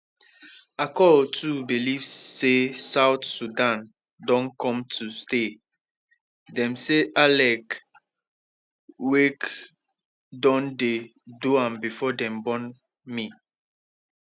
akol too believe say south sudan don come to stay dem say alek wek don dey do am before dem born me